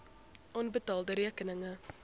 onbetaalde rekeninge